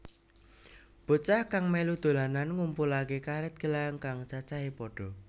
Bocah kang mèlu dolanan ngumpulaké karèt gelang kang cacahé pada